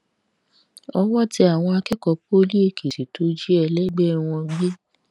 owó tẹ àwọn akẹkọọ poli èkìtì tó jí ẹlẹgbẹ wọn gbé